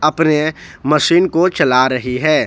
अपने मशीन को चला रही है।